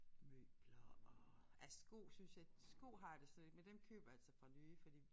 Møbler og ja sko synes jeg sko har jeg det slet ikke men dem køber jeg altså fra nye fordi